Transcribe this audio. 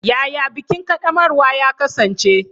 Yaya bikin ƙaddamarwa ya kasance?